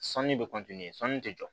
Sanu bɛ sanu tɛ jɔ